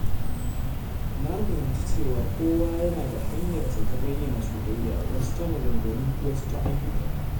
Na fahimci cewa kowa yana da hanyarsa ta bayyana soyayya, wasu ta maganganu, wasu ta ayyuka.